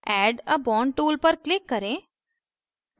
add a bond tool पर click करें